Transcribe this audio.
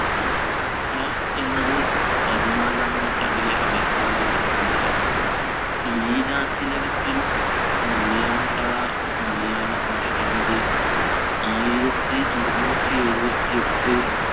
ഷാ എന്നത് പതിനാലാം നൂറ്റാണ്ടിലെ അലങ്കാര ഗ്രന്ഥമായ ലീലാതിലകത്തിലും മലയാൻപഴ മലയാളഭാഷയെന്നത് ആയിരത്തി അറുന്നൂറ്റി എഴുപത്തിയെട്ട്